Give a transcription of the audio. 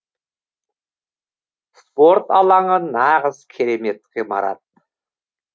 спорт алаңы нағыз керемет ғимарат